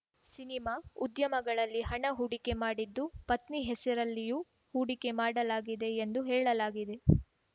cinema ಉದ್ಯಮಗಳಲ್ಲಿ ಹಣ ಹೂಡಿಕೆ ಮಾಡಿದ್ದು ಪತ್ನಿ ಹೆಸರಲ್ಲಿಯೂ ಹೂಡಿಕೆ ಮಾಡಲಾಗಿದೆ ಎಂದು ಹೇಳಲಾಗಿದೆ